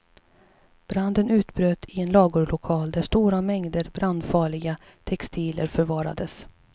Branden utbröt i en lagerlokal där stora mängder brandfarliga textilier förvarades.